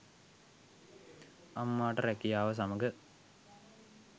අම්මාට රුකියාව සමග